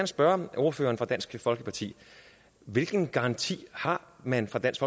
spørge ordføreren for dansk folkeparti hvilken garanti har man fra dansk